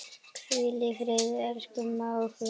Hvíl í friði, elsku mágur.